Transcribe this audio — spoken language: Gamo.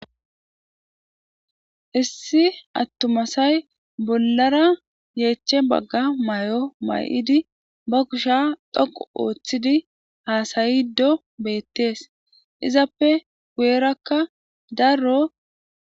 issi attumasay bollara yeeche bagga may7o may7idi ba kusha dhoqu ooththidi haasayiddo beettees izappe guyerakka darro